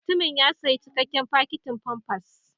Mutumin ya sayi cikakken fakitin famfas.